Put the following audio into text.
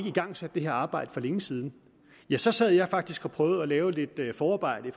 igangsat det her arbejde for længe siden ja så sad jeg faktisk og prøvede at lave lidt forarbejde